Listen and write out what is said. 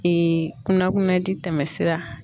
kunnakunaji tɛmɛsira.